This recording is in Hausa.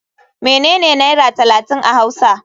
Menene naira talatin a hausa.